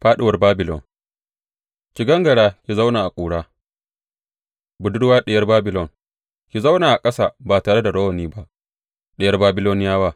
Fāɗuwar Babilon Ki gangara, ki zauna a ƙura, Budurwa Diyar Babilon; ki zauna a ƙasa ba tare da rawani ba, Diyar Babiloniyawa.